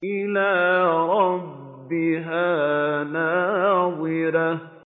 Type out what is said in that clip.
إِلَىٰ رَبِّهَا نَاظِرَةٌ